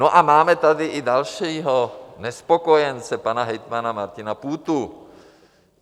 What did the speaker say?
No a máme tady i dalšího nespokojence, pana hejtmana Martina Půtu.